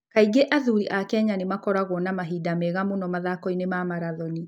Kaingĩ athuri a Kenya nĩ makoragwo na mahinda mega mũno mathaako-inĩ ma marathoni.